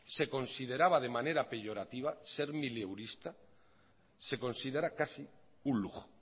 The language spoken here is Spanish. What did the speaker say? se consideraba de manera peyorativa ser mileurista se considera casi un lujo